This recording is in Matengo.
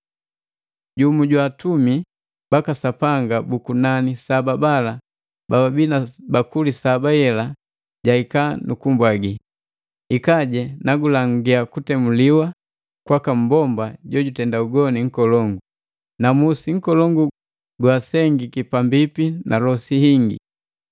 Jumu jwa atumi baka Sapanga bu kunani saba bala bababii na bakuli saba gala jahika nu kumbwagila, “Hikaje, nagulangia kutemuwa kwaka mmbomba jojutenda ugoni nkolongu, na musi nkolongu goasengiki pambipi na losi hingi.